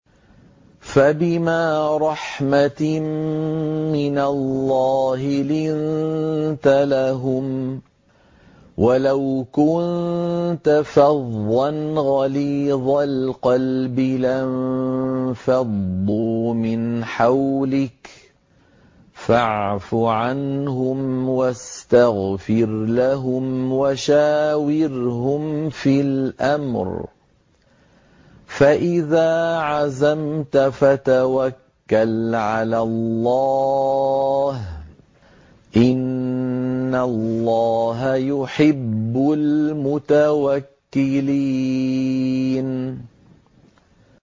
فَبِمَا رَحْمَةٍ مِّنَ اللَّهِ لِنتَ لَهُمْ ۖ وَلَوْ كُنتَ فَظًّا غَلِيظَ الْقَلْبِ لَانفَضُّوا مِنْ حَوْلِكَ ۖ فَاعْفُ عَنْهُمْ وَاسْتَغْفِرْ لَهُمْ وَشَاوِرْهُمْ فِي الْأَمْرِ ۖ فَإِذَا عَزَمْتَ فَتَوَكَّلْ عَلَى اللَّهِ ۚ إِنَّ اللَّهَ يُحِبُّ الْمُتَوَكِّلِينَ